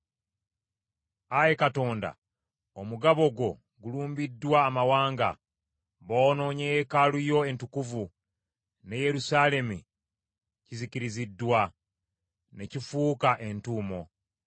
Ayi Katonda omugabo gwo gulumbiddwa amawanga; boonoonye yeekaalu yo entukuvu ne Yerusaalemi kizikiriziddwa, ne kifuuka entuumo.